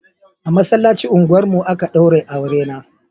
A masallacin unguwar mu a ka daure aure na